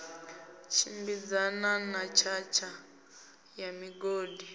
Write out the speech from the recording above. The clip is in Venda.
tshimbidzana na tshatha ya migodi